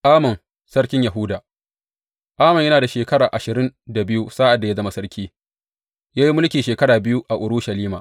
Amon sarkin Yahuda Amon yana da shekara ashirin da biyu sa’ad da ya zama sarki, ya yi mulki shekara biyu a Urushalima.